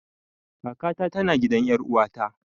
Kaka ta tana gidan ƴar uwata